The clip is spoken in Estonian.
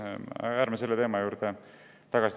Aga ärme tuleme selle teema juurde tagasi.